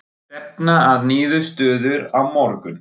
Stefna að niðurstöðu á morgun